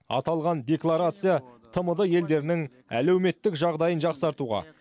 аталған декларация тмд елдерінің әлеуметтік жағдайын жақсартуға